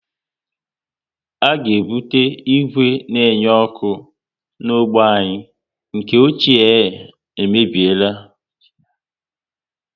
A ga ebute ìgwè na enye ọkụ ọzọ na ógbè anyị, nke ochie e mebiela